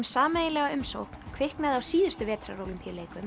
sameiginlega umsókn kviknaði á síðustu